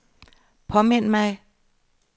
påmind mig